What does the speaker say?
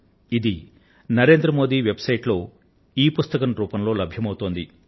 ఇది నరేంద్రమోది వెబ్సైట్ లో ఇబుక్ రూపంలో లభ్యం అవుతోంది